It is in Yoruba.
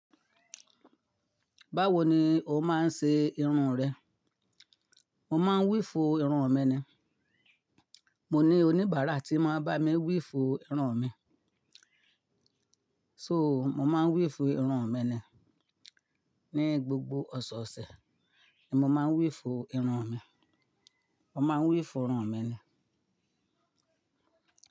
Báwo ni o máa ń ṣe irun rẹ? Mo máa ń wíifu irun mi ni. Mo ní oníbàárà tí máa ń bá mi wiífu irun mi. So, mo máa ń wíifu irun mi ni. Ní gbogbo ọ̀sọ̀ọ̀sẹ̀ ni mo máa ń wíifu irun mi. Mo máa ń wífo irun mi ni.